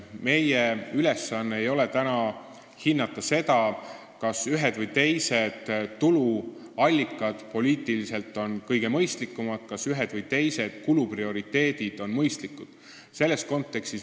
Meie ülesanne ei ole hinnata seda, kas ühed või teised tuluallikad on poliitiliselt kõige mõistlikumad või kas ühed või teised kuluprioriteedid on mõistlikud.